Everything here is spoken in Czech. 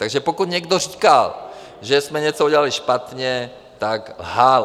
A pokud někdo říkal, že jsme něco udělali špatně, tak lhal.